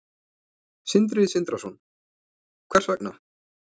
Sindri Sindrason: Hvers vegna?